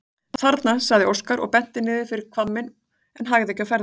Þarna, sagði Óskar og benti niður fyrir hvamminn en hægði ekki á ferðinni.